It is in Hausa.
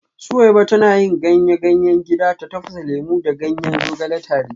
Suweiba tana yin ganyayen gida ta tafasa lemu da ganyen zogale tare